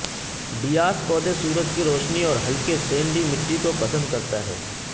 Dias پودے سورج کی روشنی اور ہلکے سینڈی مٹی کو پسند کرتا ہے